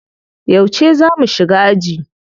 Yauce za mu shiga aji?